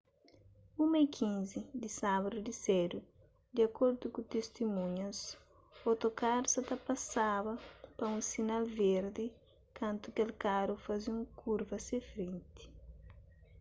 1:15 di sábadu di sedu di akordu ku tistimunhas otokaru sa ta pasaba pa un sinal verdi kantu kel karu faze un kurva se frenti